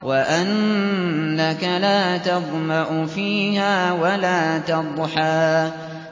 وَأَنَّكَ لَا تَظْمَأُ فِيهَا وَلَا تَضْحَىٰ